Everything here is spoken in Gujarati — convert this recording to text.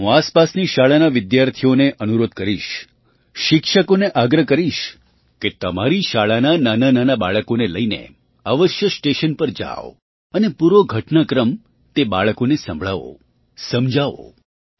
હું આસપાસની શાળાના વિદ્યાર્થીઓને અનુરોધ કરીશ શિક્ષકોને આગ્રહ કરીશ કે તમારી શાળાના નાનાંનાનાં બાળકોને લઈને અવશ્ય સ્ટેશન પર જાવ અને પૂરો ઘટનાક્રમ તે બાળકોને સંભળાવો સમજાવો